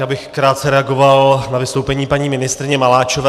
Já bych krátce reagoval na vystoupení paní ministryně Maláčové.